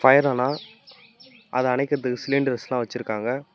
ஃபயரானா அத அணைக்கறதுக்கு சிலிண்டர்ஸ்லா வச்சுருக்காங்க.